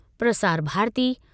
Prasar Bharati